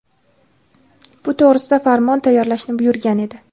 bu to‘g‘risida farmon tayyorlashni buyurgan edi.